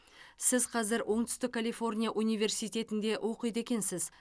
сіз қазір оңтүстік калифорния университетінде оқиды екенсіз